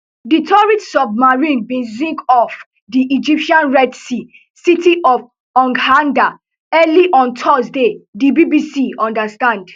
di tourist submarine bin sink off di egyptian red sea city of hurghada early on thursday di bbc understand